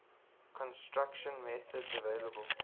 construction methods available